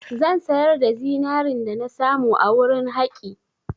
Zan sayar da zinarin dana samu a wurin haƙi.